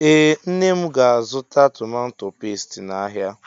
Ee nne mụ ga- azụta tomato pestie n' áhiá.